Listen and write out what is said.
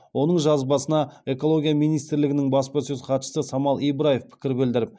оның жазбасына экология министрлігінің баспасөз хатшысы самал ибраев пікір білдіріп